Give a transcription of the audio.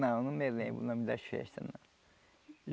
Não, não me lembro o nome das festas, não.